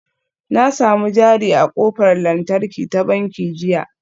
Na sami jari a ƙofar lantarki ta banki jiya